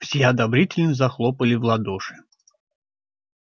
все одобрительно захлопали в ладоши